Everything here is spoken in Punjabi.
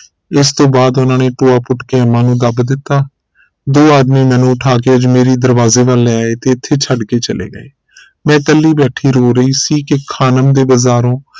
ਇਸ ਤੋਂ ਬਾਅਦ ਉਹਨਾਂ ਨੇ ਟੋਆ ਪੁੱਟ ਕੇ ਅੰਮਾ ਨੂੰ ਦੱਬ ਦਿੱਤਾ ਦੋ ਆਦਮੀ ਮੈਨੂੰ ਉਠਾ ਕੇ ਅਜਮੇਰੀ ਦਰਵਾਜੇ ਵਲ ਲੈ ਆਏ ਤੇ ਇਥੇ ਛੱਡ ਕੇ ਚਲੇ ਗਏ ਮੈਂ ਕੱਲੀ ਬੈਠੀ ਰੋ ਰਹੀ ਸੀ ਕਿ ਖਾਨਮ ਦੇ ਬਾਜ਼ਾਰੋਂ